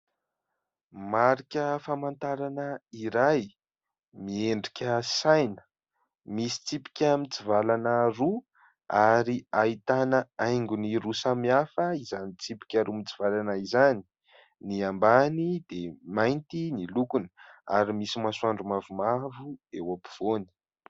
Marika famantarana iray, miendrika saina, misy tsipika mitsivalana roa ary ahitana haingony roa samihafa izany tsipika roa mitsivalana izany, ny ambany dia mainty ny lokony ary misy masoandro mavomavo eo ampovoany.